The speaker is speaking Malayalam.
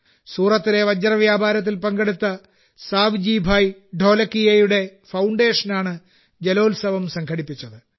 സൂറത്തിലെ വജ്രവ്യാപാരത്തിൽ പേരെടുത്ത സാവ്ജി ഭായ് ഢോലകിയയുടെ ഫൌണ്ടേഷനാണ് ഈ ജലോത്സവം സംഘടിപ്പിച്ചത്